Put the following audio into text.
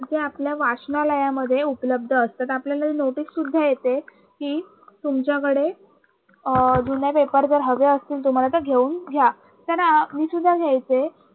जे आपल्या वाचनालयामध्ये उपलब्ध असतात आपल्याला नोटीससुद्धा येते कि तुमच्याकडे अं जुन्या paper हवे असतील तुम्हाला तर घेऊन घ्या. कारण मी सुद्धा घ्यायचे